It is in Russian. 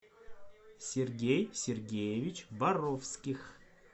сергей сергеевич боровских